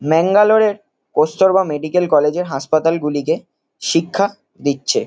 ম্যাঙ্গালোর -এ কস্তুরবা মেডিকেল কলেজ -এর হাপাতালগুলিকে শিক্ষা দিচ্ছে।